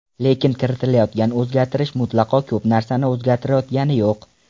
Lekin kiritilayotgan o‘zgartirish mutlaqo ko‘p narsani o‘zgartirayotgani yo‘q.